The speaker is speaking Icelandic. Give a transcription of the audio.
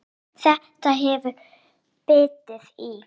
Þetta hefur bitið í?